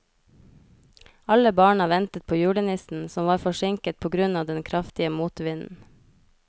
Alle barna ventet på julenissen, som var forsinket på grunn av den kraftige motvinden.